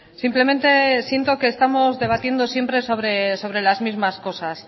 simplemente siento que estamos debatiendo siempre sobre las mismas cosas